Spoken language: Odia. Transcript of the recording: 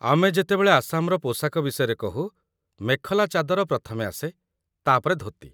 ଆମେ ଯେତେବେଳେ ଆସାମର ପୋଷାକ ବିଷୟରେ କହୁ, ମେଖଲା ଚାଦର ପ୍ରଥମେ ଆସେ, ତା'ପରେ ଧୋତି